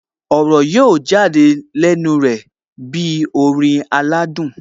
Ọ̀rọ̀ yóò jáde lẹ́nu rẹ̀ bí orin aládùn